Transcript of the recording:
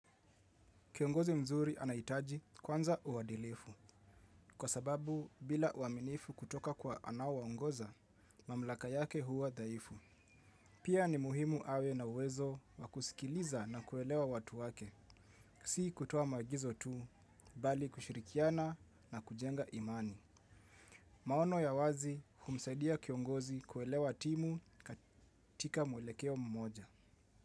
Kiongozi mzuri anahitaji kwanza uadilifu, kwa sababu bila uaminifu kutoka kwa anaowaongoza mamlaka yake huwa dhaifu. Pia ni muhimu awe na uwezo wakusikiliza na kuelewa watu wake, si kutoa maagizo tu, bali kushirikiana na kujenga imani. Maono ya wazi humsaidia kiongozi kuelewa timu katika mwelekeo mmoja.